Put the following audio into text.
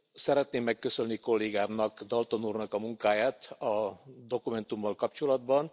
Szeretném megköszönni kollégámnak Dalton úrnak a munkáját, a dokumentummal kapcsolatban.